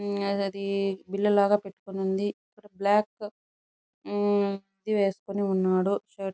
మ్మ్ ఆ అది బిళ్ళ లాగా పెట్టుకొని ఉంది ఇక్కడ బ్లాక్ మ్మ్ ఇది వెస్కొని ఉన్నాడు షర్ట్ --